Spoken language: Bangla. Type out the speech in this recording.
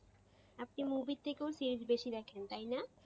আপনি movie এর থেকেও series বেশি দেখেন তাই না?